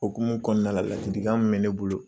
Hokumu kɔnɔna la ladilikan min be ne bolo